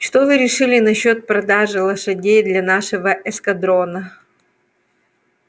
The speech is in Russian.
что вы решили насчёт продажи лошадей для нашего эскадрона